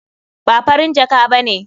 Ba Farin jaka ba ne.